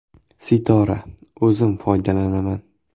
Sitora: O‘zim foydalanaman.